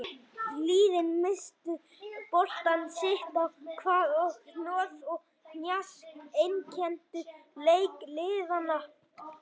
Liðin misstu boltann sitt á hvað og hnoð og hnjask einkenndu leik liðanna.